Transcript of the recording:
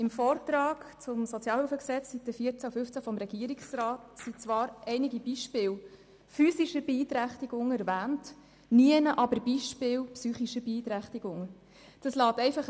Im Vortrag zum SHG hat der Regierungsrat auf den Seiten 14 und 15 zwar einige Beispiele physischer Beeinträchtigung erwähnt, aber Beispiele psychischer Beeinträchtigungen sind nirgendwo zu finden.